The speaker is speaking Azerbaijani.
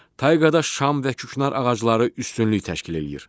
Tayqada şam və küknar ağacları üstünlük təşkil eləyir.